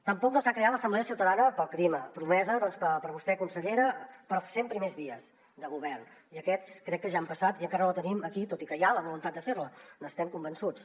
tampoc no s’ha creat l’assemblea ciutadana pel clima promesa per vostè consellera per als cent primers dies de govern i aquests crec que ja han passat i encara no la tenim aquí tot i que hi ha la voluntat de fer la n’estem convençuts